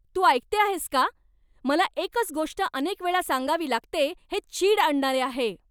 तू ऐकते आहेस का? मला एकच गोष्ट अनेक वेळा सांगावी लागते हे चीड आणणारे आहे.